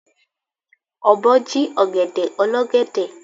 Ọ̀bọ jí ọ̀gẹ̀dẹ̀ olọ́gẹ̀dẹ̀.